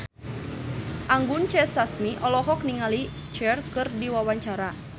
Anggun C. Sasmi olohok ningali Cher keur diwawancara